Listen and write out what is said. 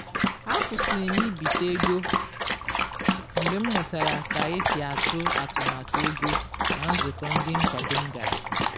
akwụsịrị m ibite ego mgbe m mụtara ka esi atụ atụmatụ ego na nzụkọ ndi nkwado m gara